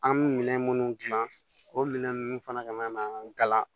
An bɛ minɛn minnu dilan o minɛn ninnu fana ka ɲi ka gala